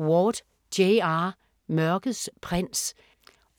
Ward, J. R.: Mørkets prins